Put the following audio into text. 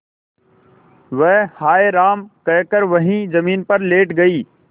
वह हाय राम कहकर वहीं जमीन पर लेट गई